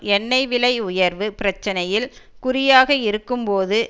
எண்ணெய் விலை உயர்வு பிரச்சனையில் குறியாக இருக்கும் போது